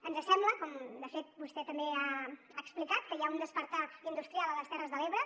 ens sembla com de fet vostè també ha explicat que hi ha un despertar industrial a les terres de l’ebre